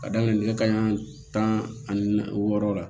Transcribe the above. Ka daminɛ nɛgɛ kanɲɛ tan ani naani wɔɔrɔ la